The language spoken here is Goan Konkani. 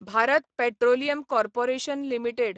Bharat petroleum corporation limited